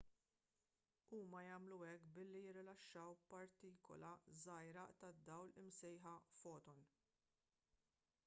huma jagħmlu hekk billi jirilaxxaw partikula żgħira tad-dawl imsejħa foton